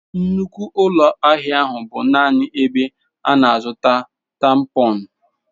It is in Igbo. Nnukwu ụlọ ahịa ahụ bụ naanị ebe a na-azụta tampons.